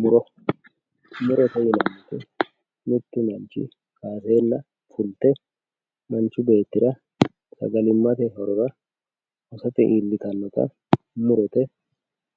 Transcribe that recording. Muro, murote yinanni woyte mitu manchi ayerenna manchi beettira sagalimate horora hosate iillittanota murote